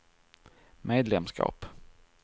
medlemskap